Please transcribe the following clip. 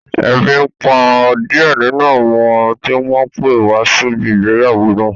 Ebi n pa díẹ̀ nínú àwọn tí wọ́n pé wá síbi ìgbéyàwó náà